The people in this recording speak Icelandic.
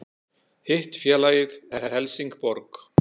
Hitt félagið er Helsingborg